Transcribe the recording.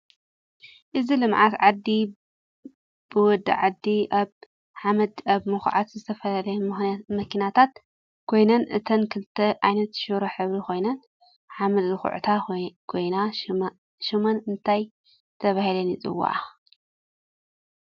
እዚ ልምዓት ዓዲ ብወደ ዓዲ አብ ሓመድ አብ ምክዓት ዝተፈላለያ መኪናታት ኮይነን እተን ክልተ ዓይነት ሽሮ ሕብሪ ኮይነን ሓመድ ዝኩዕታ ኮይነ ሽመን እንታይ ተባህለን ይፂዋዓ?